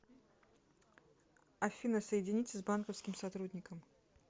афина соедините с банковским сотрудником